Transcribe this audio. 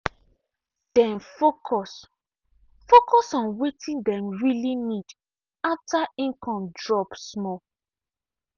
dem focus focus on wetin dem really need after income drop small.